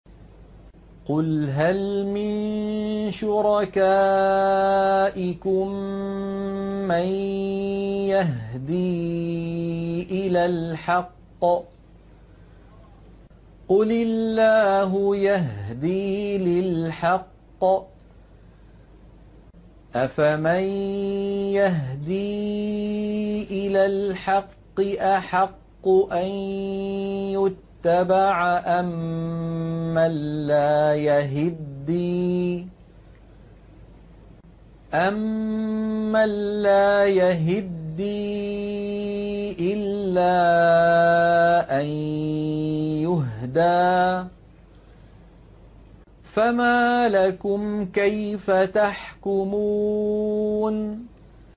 قُلْ هَلْ مِن شُرَكَائِكُم مَّن يَهْدِي إِلَى الْحَقِّ ۚ قُلِ اللَّهُ يَهْدِي لِلْحَقِّ ۗ أَفَمَن يَهْدِي إِلَى الْحَقِّ أَحَقُّ أَن يُتَّبَعَ أَمَّن لَّا يَهِدِّي إِلَّا أَن يُهْدَىٰ ۖ فَمَا لَكُمْ كَيْفَ تَحْكُمُونَ